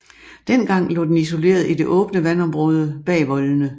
Dengang lå den isoleret i det åbne vandområde bag voldene